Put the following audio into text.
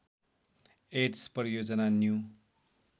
AIDS परियोजना new